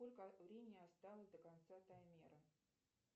сколько времени осталось до конца таймера